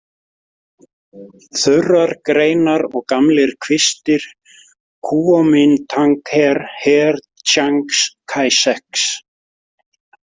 Þurrar greinar og gamlir kvistir: Kúómintangher, her Tsjangs Kæsjeks.